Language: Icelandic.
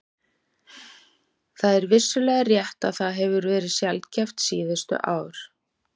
Það er vissulega rétt að það hefur verið sjaldgæft síðustu ár.